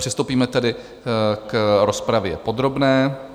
Přistoupíme tedy k rozpravě podrobné.